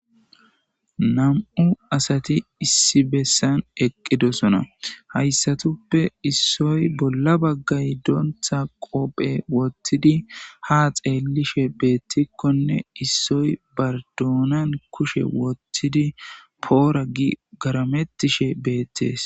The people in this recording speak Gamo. Ha namu'u assati issi bessani eqidosona haysatape bolla bagayi donza huphen qobbe wothidi ha xellishe betikonne issoyi ubba donna kushe wwothidi poora gi garametishe betesi.